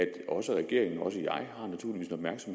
herre jacob jensen